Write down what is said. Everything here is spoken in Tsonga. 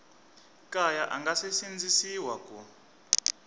kaya a nge sindzisiwi ku